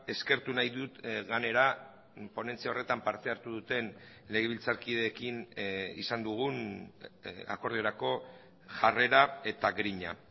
eskertu nahi dut gainera ponentzia horretan parte hartu duten legebiltzarkideekin izan dugun akordiorako jarrera eta grina